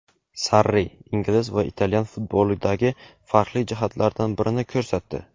Sarri ingliz va italyan futbolidagi farqli jihatlardan birini ko‘rsatdi.